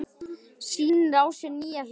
Sýnir á sér nýja hlið í sófanum.